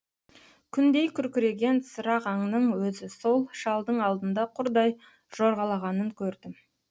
күндей күркіреген сырағаңның өзі сол шалдың алдында құрдай жорғалағанын көрдім